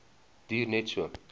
duur net so